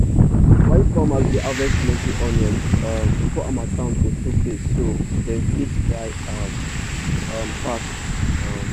wise farmers dey harvest plenty onions um before harmattan go show face so dem fit dry am um fast um